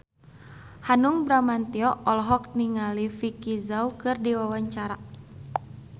Hanung Bramantyo olohok ningali Vicki Zao keur diwawancara